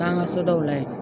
Taa ŋa sodaw la yen